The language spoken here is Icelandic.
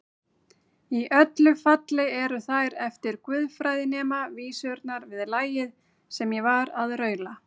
Í öllu falli eru þær eftir guðfræðinema vísurnar við lagið sem ég var að raula.